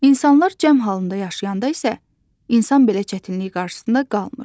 İnsanlar cəm halında yaşayanda isə, insan belə çətinlik qarşısında qalmır.